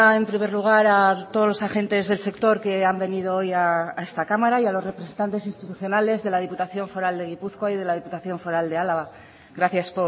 en primer lugar a todos los agentes del sector que han venido hoy a esta cámara y a los representantes institucionales de la diputación foral de gipuzkoa y de la diputación foral de álava gracias